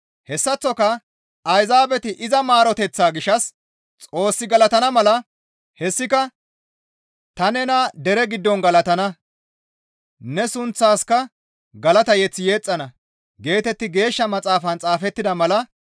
Hessaththoka Ayzaabeti iza maaroteththaa gishshas Xoos galatana mala; hessika, «Ta nena dere giddon galatana; ne sunththaaska galata mazamure yexxana» geetetti Geeshsha Maxaafan xaafettida mala.